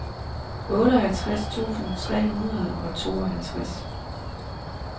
otteoghalvtreds tusind tre hundrede og tooghalvtreds